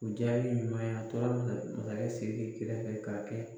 U diya ye ɲɔn ye a tora masakɛ Siriki kɛrɛfɛ ka